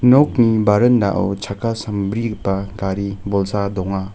nokni barendao chakka sambrigipa gari bolsa donga.